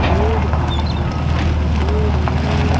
Add भी दिखाई दे रही है।